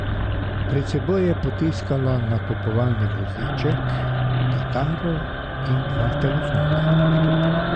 Pred seboj je potiskala nakupovalni voziček, kitaro in dva telefona.